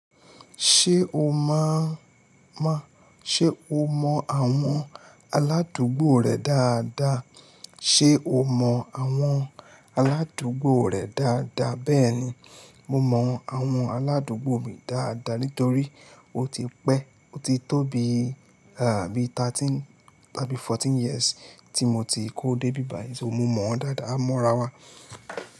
Ṣé o mọ̀, má, ṣe o mọ àwọn aládùúgbò rẹ dáadáa? Ṣé o mọ àwọn aládùúgbò rẹ dáadáa? Bẹ́ẹ̀ni, mo mọ àwọn aládùúgbò mi dáadáa nítorí ó ti pẹ́, ó ti tó bi, àbí thirteen, àbí fourteen years tí mo ti kó dé bíbà yìí, so mo mọ̀ wọ́n dáadáa, a mọ́ra wa.